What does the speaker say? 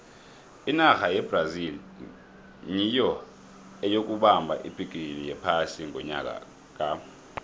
inarha yebrazil nyiyo eyokubamba ibhigiri yephasi ngonyaka ka